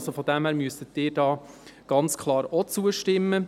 Daher müssten Sie hier ganz klar auch zustimmen.